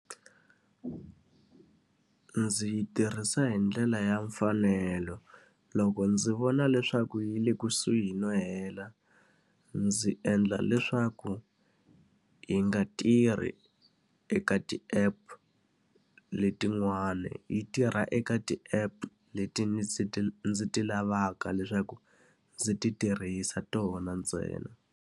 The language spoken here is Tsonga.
Ndzi yi tirhisa hi ndlela ya mfanelo. Loko ndzi vona leswaku yi le kusuhi no hela, ndzi endla leswaku yi nga tirhi eka ti-app letin'wani. Yi tirha eka ti-app leti ndzi ti ndzi ti lavaka leswaku ndzi ti tirhisa tona ntsena.